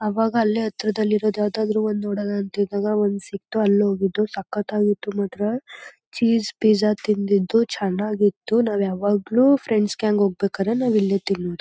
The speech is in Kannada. ಅವಾಗ ಅಲ್ಲೇ ಹತ್ರ ದಲ್ಲಿರೋ ಯಾವ್ದಾದ್ರು ಒಂದ್ ನೋಡೋದ್ ಅಂತ ಇದ್ದಾಗ ಒಂದ್ ಸಿಕ್ತು . ಅಲ್ಲಿ ಹೋಗಿದ್ದು. ಸಖತ್ತಾಗಿತ್ತು ಮಾತ್ರ ಚೀಸ್ ಪಿಜ್ಜಾ ತಿಂದಿದ್ದು ಚೆನ್ನಾಗಿತ್ತು. ನಾವು ಯಾವಾಗಲು ಫ್ರೆಂಡ್ಸ್ ಗ್ಯಾಂಗ್ ಹೋಗ್ಬೇಕಾದ್ರೆ ನಾವು ಇಲ್ಲೇ ತಿನ್ನೋದು.